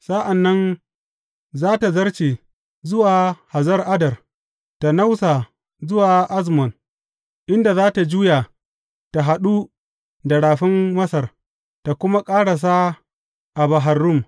Sa’an nan za tă zarce zuwa Hazar Addar, tă nausa zuwa Azmon, inda za tă juya tă haɗu da Rafin Masar, tă kuma ƙarasa a Bahar Rum.